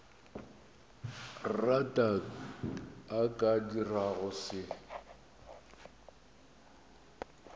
rata a ka dirago se